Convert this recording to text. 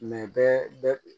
bɛɛ